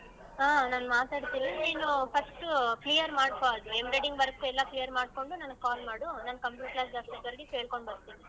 ಹಾ ನಾನ್ ಮಾತಾಡ್ತೀನಿ ನೀನು first clear ಮಾಡ್ಕೊ ಅದ್ನ embroidering work ಎಲ್ಲಾ clear ಮಾಡ್ಕೊಂಡು ನನ್ಗ್ call ಮಾಡು ನಾನ್ computer class ಗ್ ಬಂದಿ ಕೇಳ್ಕೊಂಡ್ ಬರ್ತೀನಿ.